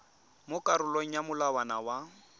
mo karolong ya molawana wa